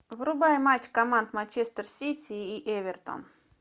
врубай матч команд манчестер сити и эвертон